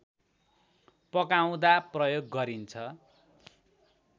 पकाउँदा प्रयोग गरिन्छ